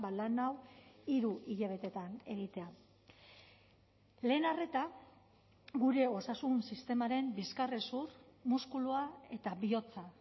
lan hau hiru hilabetetan egitea lehen arreta gure osasun sistemaren bizkarrezur muskulua eta bihotza